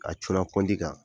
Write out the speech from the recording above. A cun na pɔnti kan.